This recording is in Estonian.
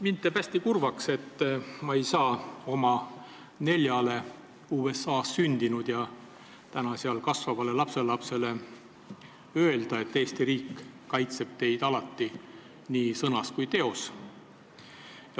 Mind teeb hästi kurvaks, et ma ei saa oma neljale USA-s sündinud ja seal kasvavale lapselapsele öelda, et Eesti riik kaitseb neid alati nii sõnas kui teos.